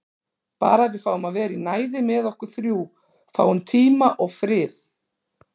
Bara að við fáum að vera í næði með okkur þrjú. fáum tíma og frið.